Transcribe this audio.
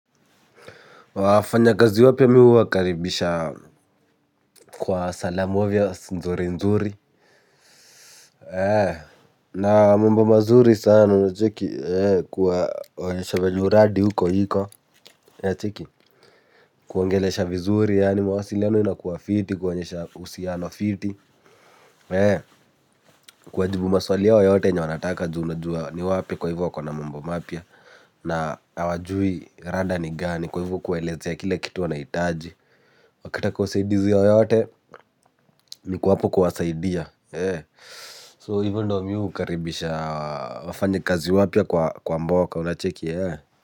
Wafanya kazi wapya mimk huwakaribisha kwa salamu avya nzuri nzuri. Na mambo mazuri sana unacheki kuwaonyesha venye uradi huko iko unacheki kuwaongelesha vizuri yaani mawasiliano inakuwa fiti kuwaonyesha uhusiano fiti. Kuwa jibu maswali yao yote yenye wanataka juu unajua ni wapi kwa hivyo wako na mambo mapya. Na hawajui rada ni gani kwa hivyo kuwaelezea kila kitu wanahitaji wakitaka usaidizi yoyote niko hapo kuwasaidia so hivo ndio mimi hukaribisha wafanyakazi wapya kwa mboka unacheki.